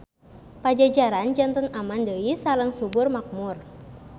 Pajajaran janten aman deui sareng subur makmur.